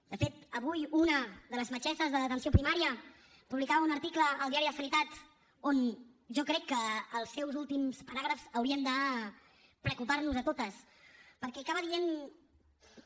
de fet avui una de les metgesses d’atenció primària publicava un article a el diari de la sanitat i jo crec que els seus últims paràgrafs haurien de preocupar nos a totes perquè acaba dient que